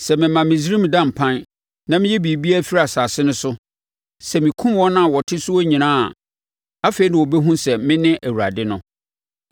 Sɛ mema Misraim da mpan na meyi biribiara firi asase no so, sɛ mekum wɔn a wɔte soɔ nyinaa a, afei na wɔbɛhunu sɛ mene Awurade no.’